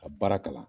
Ka baara kalan